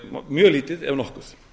mjög lítið ef nokkuð